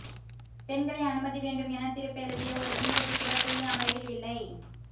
பெண்களை அனுமதி வேண்டும் என தீர்ப்பெழுதிய ஒரு நீதிபதி கூட புதிய அமர்வில் இல்லை